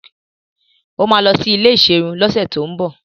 Ó máa lọ sí ilé ìserun lọ́sẹ̀tíbọ̀